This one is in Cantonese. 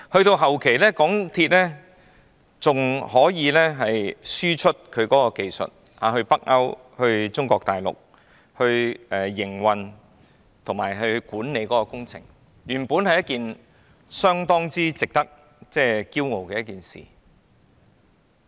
到了後期，港鐵公司還可以向北歐及中國大陸輸出營運及管理工程的技術，原本是一件相當值得驕傲的事。